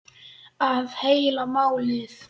Það er heila málið.